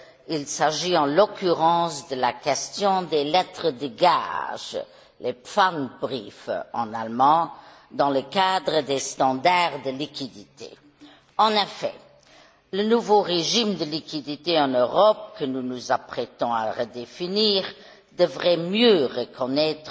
Il s'agit, en l'occurrence, de la question des lettres de gage, les en allemand, dans le cadre des standards de liquidité. En effet, le nouveau régime de liquidité en Europe, que nous nous apprêtons à redéfinir, devrait mieux reconnaître